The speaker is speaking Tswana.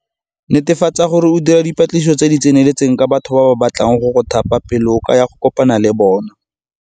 Netefatsa gore o dira dipatlisiso tse di tseneletseng ka batho ba ba batlang go go thapa pele o ka ya go kopana le bona.